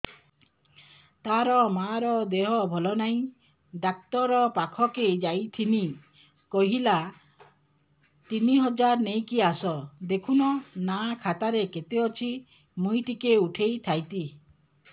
ତାର ମାର ଦେହେ ଭଲ ନାଇଁ ଡାକ୍ତର ପଖକେ ଯାଈଥିନି କହିଲା ତିନ ହଜାର ନେଇକି ଆସ ଦେଖୁନ ନା ଖାତାରେ କେତେ ଅଛି ମୁଇଁ ଟିକେ ଉଠେଇ ଥାଇତି